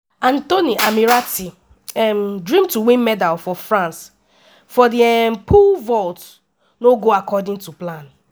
anthony ammirati um dream to win medal for france for di um pole vault no go according to plan.